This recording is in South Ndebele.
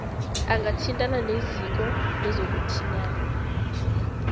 angathintana neziko lezokuthintana